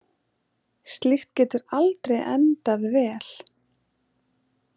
Slíkt getur aldrei endað vel.